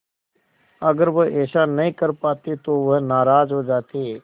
अगर वह ऐसा नहीं कर पाते तो वह नाराज़ हो जाते